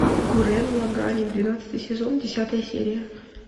гуррен лаганн двенадцатый сезон десятая серия